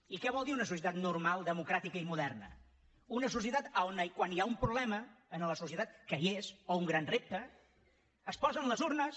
i què vol dir una societat normal democràtica i moderna una societat on quan hi ha un problema en la societat que hi és o un gran repte es posen les urnes